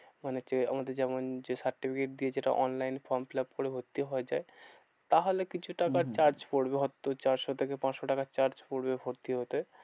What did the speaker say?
মানে কেউ আমাদের যেমন যে certificate দিয়ে যেটা online এ form fill up করে ভর্তি হওয়া যায়। তাহলে কিছু টাকার হম হম charge পড়বে। হয়তো চারশো থেকে পাঁচশো টাকার charge পড়বে ভর্তি হতে।